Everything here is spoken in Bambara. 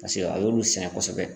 Paseke a y'olu sɛgɛn kosɛbɛ